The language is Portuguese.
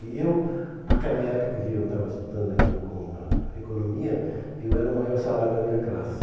E eu, naquela época em que eu estava estudando ainda eco economia, eu era o maior salário da minha classe.